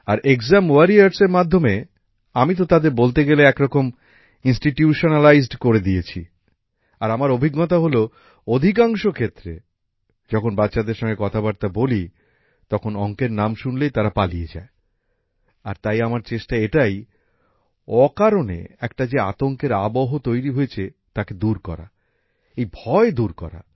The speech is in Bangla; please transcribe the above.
আর এক্সাম ওয়ারিয়রস এর মাধ্যমে আমি তো তাদের বলতে গেলে এক রকম ইনস্টিটিউশনালাইজড করে দিয়েছি আর আমার অভিজ্ঞতা হল অধিকাংশ ক্ষেত্রে যখন বাচ্চাদের সঙ্গে কথাবার্তা বলি তখন অংকের নাম শুনলেই তারা পালিয়ে যায় আর তাই আমার চেষ্টা এটাই অকারণে একটা যে আতঙ্কের আবহ তৈরি হয়েছে তাকে দূর করা এই ভয় দূর করা